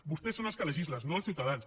vostès són els que legislen no els ciutadans